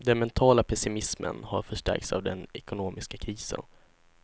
Den mentala pessimismen har förstärkts av den ekonomiska krisen.